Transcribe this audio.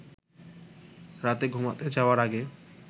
রাতে ঘুমাতে যাওয়ার আগে